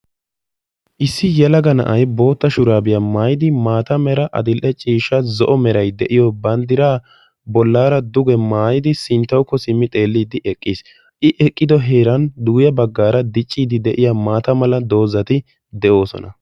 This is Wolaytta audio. issi yelaga na'ay maata mala meray diyo shuraabiya maayidi adil'e ciishsha meray diyo bandiraa bolaara duge maaayidi sinttawukko simmi xeeliidi eqqiis. i